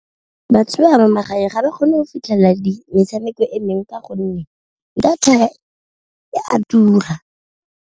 Batho ba magareng ga ba kgone go fitlhelela metshameko emeng ka gonne data e a tura.